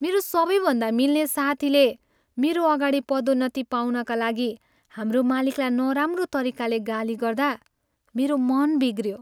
मेरो सबैभन्दा मिल्ने साथीले मेरो अगाडि पदोन्नति पाउनका लागि हाम्रो मालिकलाई नराम्रो तरिकाले गाली गर्दा मेरो मन बिग्रियो।